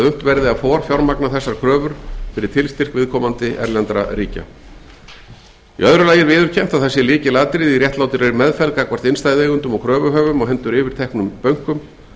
að forfjármagna þessar kröfur fyrir tilstyrk viðkomandi erlendra ríkja í öðru lagi er viðurkennt að það sé lykilatriði í réttlátri meðferð gagnvart innstæðueigendum og kröfuhöfum á hendur yfirteknum bönkum